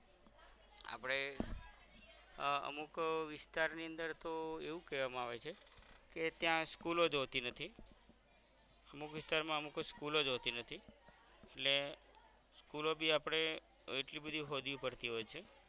આહ અમુક હમ વિસ્તાર ની અંદર તો એવું કેવામા આવે છે કે ત્યાં school લોજ હોતી નથી અમુક વિસ્તારમાં અમુકજ school અજ હોતી નથી ને school લો બી આપદે એટલી બધી હોડવી પડતી હોય છે